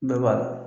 Bɛɛ b'a la